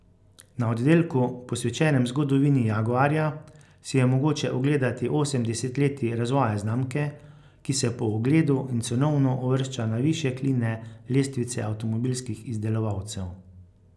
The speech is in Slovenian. Na oddelku, posvečenem zgodovini Jaguarja, si je mogoče ogledati osem desetletij razvoja znamke, ki se po ugledu in cenovno uvršča na višje kline lestvice avtomobilskih izdelovalcev.